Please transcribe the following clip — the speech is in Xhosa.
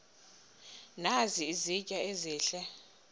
nazi izitya ezihle